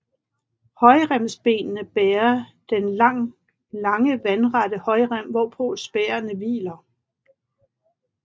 Højremsbenene bærer den lange vandrette højrem hvorpå spærene hviler